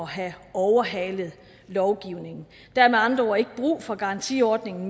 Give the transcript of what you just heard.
have overhalet lovgivningen der er med andre ord ikke længere brug for garantiordningen